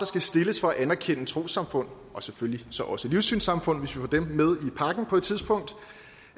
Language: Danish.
skal stilles for at anerkende trossamfund og selvfølgelig så også livssynssamfund hvis vi på et tidspunkt